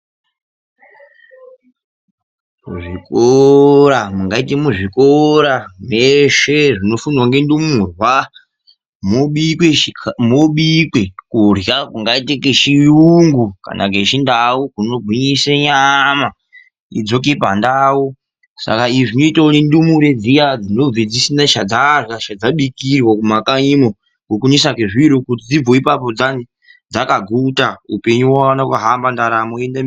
Zvikora zveshe zvinofundwa ngendumurwa moobikwe kurya kungaite kwechiyungu kana ngechindau kunogwinyisa nyama idzoke pandau. Saka izvi zvinoitwa nendumure dzinobva dzisina dzajarya kana chadzabikirwa mumakanyimo nokunetsa kwezviro kuti dzibvewo ipapo dzakaguta upenyu uone kuhamba ndaramo iende mberi.